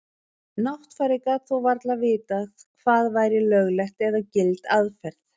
Náttfari gat þó varla vitað hvað væri lögleg eða gild aðferð.